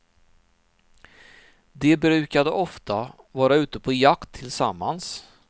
De brukade ofta vara ute på jakt tillsammans.